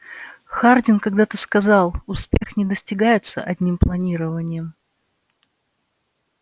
хардин когда-то сказал успех не достигается одним планированием